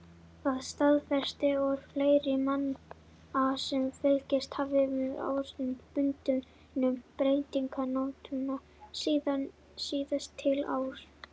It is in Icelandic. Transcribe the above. Það staðfestir orð fleiri manna sem fylgst hafa með árstíðabundnum breytingum náttúrunnar síðastliðin ár.